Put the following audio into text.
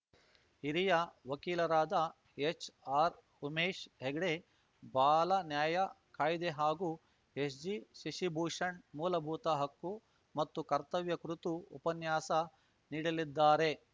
ಹಿರಿಯ ವಕೀಲರಾದ ಎಚ್‌ಆರ್‌ಉಮೇಶ್‌ ಹೆಗ್ಡೆ ಬಾಲನ್ಯಾಯ ಕಾಯ್ದೆ ಹಾಗೂ ಎಸ್‌ಜಿಶಶಿಭೂಷಣ್‌ ಮೂಲಭೂತ ಹಕ್ಕು ಮತ್ತು ಕರ್ತವ್ಯ ಕುರಿತು ಉಪನ್ಯಾಸ ನೀಡಲಿದ್ದಾರೆ